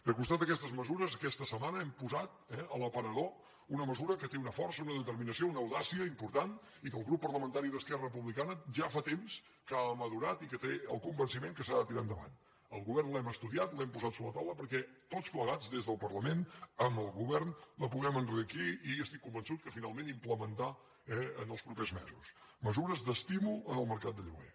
de costat d’aquestes mesures aquesta setmana hem posat eh a l’aparador una mesura que té una força una determinació una audàcia important i que el grup parlamentari d’esquerra republicana ja fa temps que ha madurat i que té el convenciment que s’ha de tirar endavant el govern l’hem estudiat l’hem posat sobre la taula perquè tots plegats des del parlament amb el govern la puguem enriquir i estic convençut que finalment implementar els propers mesos mesures d’estímul al mercat de lloguer